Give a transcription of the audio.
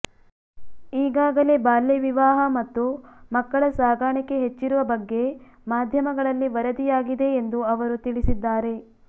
ಈಗಾಗಲೇ ಬಾಲ್ಯ ವಿವಾಹ ಮತ್ತು ಮಕ್ಕಳ ಸಾಗಾಣಿಕೆ ಹೆಚ್ಚಿರುವ ಬಗ್ಗೆ ಮಾಧ್ಯಮಗಳಲ್ಲಿ ವರದಿಯಾಗಿದೆ ಎಂದು ಅವರು ತಿಳಿಸಿದ್ದಾರೆ